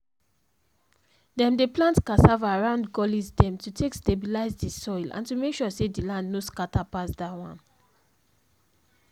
dem dey plant cassava around gullies dem to take stabilize the soil and to make sure say the land no scatter pass dat one